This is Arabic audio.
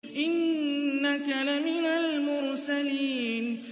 إِنَّكَ لَمِنَ الْمُرْسَلِينَ